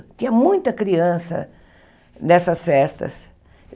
Tinha muita criança nessas festas.